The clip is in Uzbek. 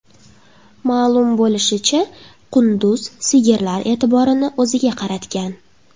Ma’lum bo‘lishicha, qunduz sigirlar e’tiborini o‘ziga qaratgan.